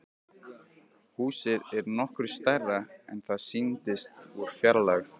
Húsið er nokkru stærra en það sýndist úr fjarlægð.